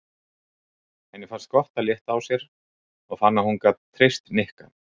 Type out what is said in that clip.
Henni fannst gott að létta á sér og fann að hún gat treyst Nikka.